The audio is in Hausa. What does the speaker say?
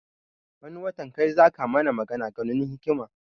Wani watan kai zaka mana magan ganun hikima